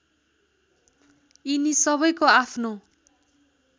यिनी सबैको आफ्नो